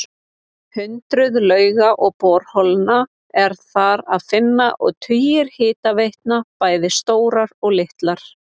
Hundruð lauga og borholna er þar að finna og tugir hitaveitna, bæði stórar og litlar.